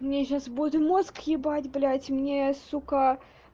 мне сейчас будем мозг ебать блять мне сука